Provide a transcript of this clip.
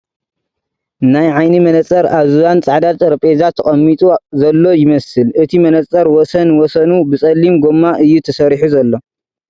ናይ ዓይኒ መነፀር ኣብ ብባን ፃዕዳ ጠረጼዛ ተቐሚጢ ዘሎ ይመስል እቲ መነፀር ወሰን ወሰኑ ብፀሊም ጎማ እዩ ተሰሪሑ ዘሎ ።